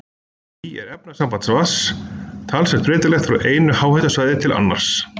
Því er efnainnihald vatns talsvert breytilegt frá einu háhitasvæði til annars.